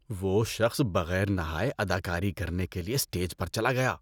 وہ شخص بغیر نہائے اداکاری کرنے کے لیے اسٹیج پر چلا گیا۔